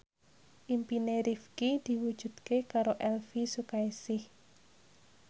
impine Rifqi diwujudke karo Elvi Sukaesih